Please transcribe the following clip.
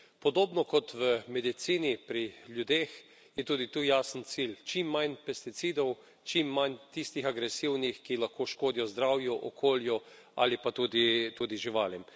Podobno kot v medicini pri ljudeh je tudi tu jasen cilj čim manj pesticidov, čim manj tistih agresivnih, ki lahko škodijo zdravju, okolju ali pa tudi živalim.